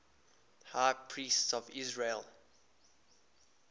high priests of israel